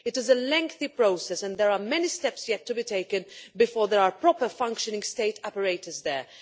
It is a lengthy process, and there are many steps yet to be taken before there are proper functioning State operators there.